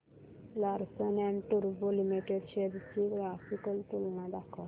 Larsen and टुर्बो limited shares ची graphical तुलना दाखव